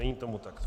Není tomu tak.